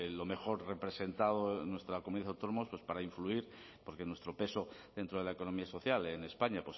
lo mejor representado en nuestra comunidad autónoma pues para influir porque nuestro peso dentro de la economía social en españa